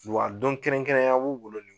Wa don kɛrɛnkɛrɛnya b'u bolo